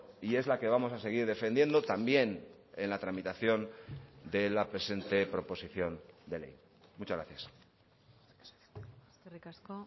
y es la que vamos a seguir defendiendo también en la tramitación de la presente proposición de ley muchas gracias eskerrik asko